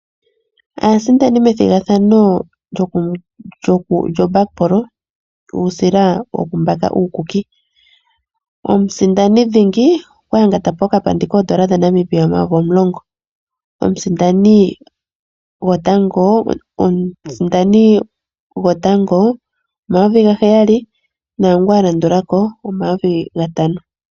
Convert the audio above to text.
Aasindani methimbo lyuusila woku mbaka uukuki Omusindani dhingi okwa yanga tapo okapandi koondola dha Namibia omayovi omulongo. Omusindani gwotango omayovi ga heyali naangu alandulako omayovi gatano